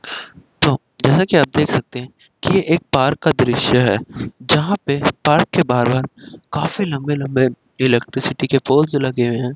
तो जैसा कि आप देख सकते है कि एक पार्क का दृश्य है जहां पे पार्क के बाहर मे काफी लंबे लंबे इलेक्ट्रिसिटी के पोल्स लगे हैं।